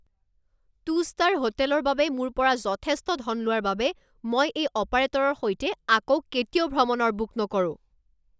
two star হোটেলৰ বাবে মোৰ পৰা যথেষ্ট ধন লোৱাৰ বাবে মই এই অপাৰেটৰৰ সৈতে আকৌ কেতিয়াও ভ্ৰমণৰ বুক নকৰোঁ